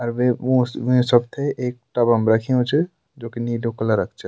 अर वे उ वे सब थें एक टब म रख्युं च जोकि नीलू कलर च।